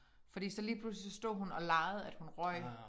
Fordi så lige pludselig så stod hun og legede at hun røg